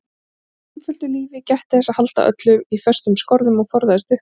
Hann lifði einföldu lífi, gætti þess að halda öllu í föstum skorðum og forðaðist uppnám.